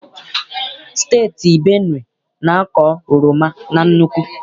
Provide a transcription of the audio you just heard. Steeti Benue na-akọ oroma na nnukwu.